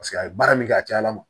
Paseke a ye baara min kɛ a cayala